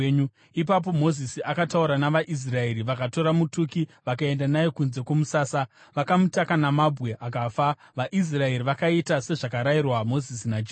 Ipapo Mozisi akataura navaIsraeri, vakatora mutuki vakaenda naye kunze kwomusasa, vakamutaka namabwe akafa. VaIsraeri vakaita sezvakarayirwa Mozisi naJehovha.